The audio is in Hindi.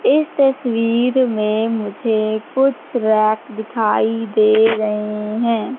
इस तस्वीर में मुझे कुछ रैक दिखाई दे रहे हैं।